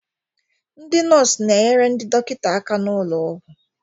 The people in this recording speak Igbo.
Ndị nọọsụ na-enyere ndị dọkịta aka n'ụlọ ọgwụ